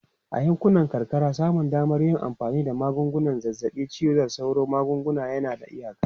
A yankunan karkara, samun damar yin amfani da magungunan zazzabin cizon sauro da magunguna yana da iyaka.